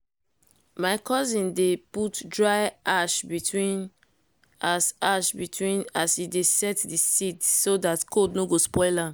my cousin dey put dry ash between as ash between as e dey set d seeds so dat cold no spoil am